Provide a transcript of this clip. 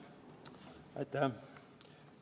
Aitäh!